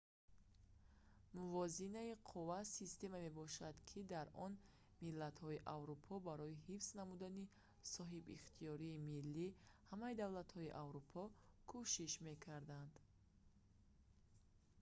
мувозинаи қувва системае мебошад ки дар он миллатҳои аврупо барои ҳифз намудани соҳибихтиёрии миллии ҳамаи давлатҳои аврупо кӯшиш мекарданд